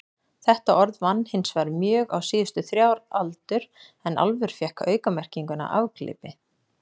Þetta orð vann hinsvegar mjög á síðustu þrjár aldur en álfur fékk aukamerkinguna afglapi.